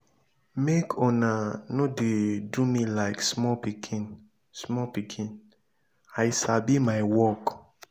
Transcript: make una no dey do me like small pikin small pikin i sabi my work.